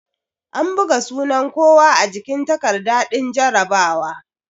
An buga sunan kowa a jikin takarda din jarabawa